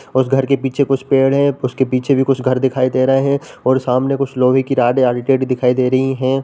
उस घर के पीछे कुछ पेड़ हैं। उसके पीछे भी कुछ घर दिखाई दे रहे हैं और सामने कुछ लोहे की रड या दिखाई दे रही हैं।